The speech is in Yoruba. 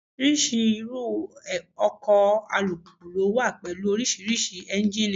Oríṣiríṣi irú ọkọ̀ alùpùpù ló wà pẹ̀lú oríṣiríṣi Ẹ́njíníì.